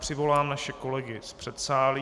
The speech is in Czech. Přivolám naše kolegy z předsálí.